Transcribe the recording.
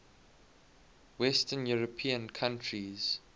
western european countries